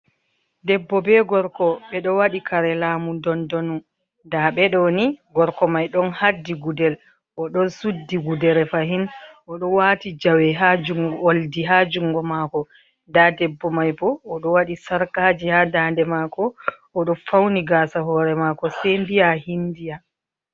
Debbo be gorko bedo wadi kare lamu dondonu. Nda bedo ni gorko mai don haddi gudel, o don suddi gudere fahin, o do wati jawe waldi ha jungo mako. Nda debbo mai bo odo wadi sarkaji ha daande mako, o ɗo fauni gasa hore mako sei mbiya hindiya.